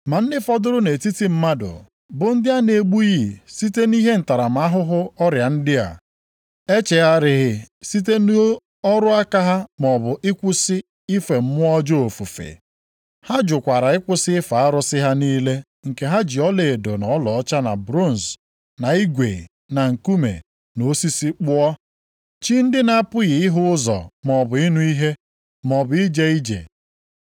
Ma ndị fọdụrụ nʼetiti mmadụ, bụ ndị a na-egbughị site nʼihe ntaramahụhụ ọrịa ndị a, echegharịghị site nʼọrụ aka ha maọbụ ịkwụsị ife mmụọ ọjọọ ofufe. Ha jụkwara ịkwụsị ife arụsị ha niile nke ha ji ọlaedo na ọlaọcha na bronz na igwe na nkume na osisi kpụọ. Chi ndị na-apụghị ịhụ ụzọ, maọbụ ịnụ ihe, maọbụ ije ije.